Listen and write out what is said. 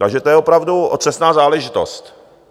Takže to je opravdu otřesná záležitost.